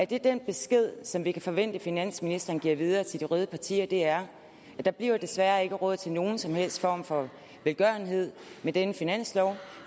det er den besked som vi kan forvente finansministeren giver videre til de røde partier der der bliver desværre ikke råd til nogen som helst form for velgørenhed med denne finanslov